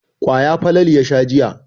Kwaya Falalu ya sha jiya.